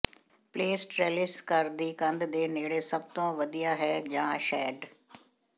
place trellis ਘਰ ਦੀ ਕੰਧ ਦੇ ਨੇੜੇ ਸਭ ਤੋਂ ਵਧੀਆ ਹੈ ਜਾਂ ਸ਼ੈਡ